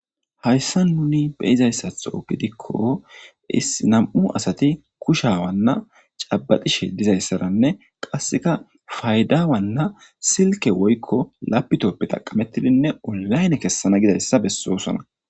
Hayssa nuni beyizayssatho gidikko issinam7u asati kushawanna cabaxishe dizayssaranne qasseka faydawanna silke woykko lapitoppe taqamettidinne olayne kessana gidayssa bessoosona